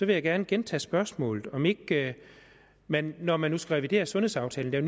jeg gerne gentage spørgsmålet om om ikke man når man nu skal revidere sundhedsaftalen og